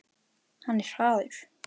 Hann er hraður.